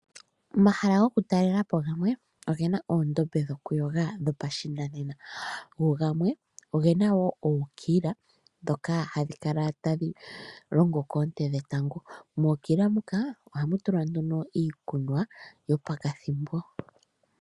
Omahala gamwe gokutalela po oge na oondombe dhokuyoga dhopashinanena, go gamwe oge na ookila ndhoka hadhi longo koonte dhetango, mookila ohamu tulwa iikunwa yopakathimbo.